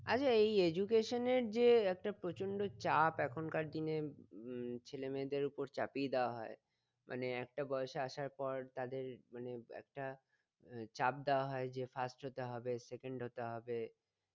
আচ্ছা এই education এর যে একটা প্রচন্ড চাপ এখনকার দিনের উম ছেলে মেয়েদের উপর চাপিয়ে দেওয়া হয় মানে একটা বয়সে আসার পর তাদের মানে একটা আহ চাপ দেওয়া হয় যে first হতে হবে second হতে হবে